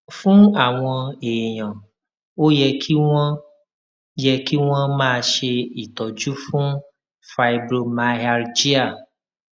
fún àwọn èèyàn ó yẹ kí wón yẹ kí wón máa ṣe ìtọjú fún fibromyalgia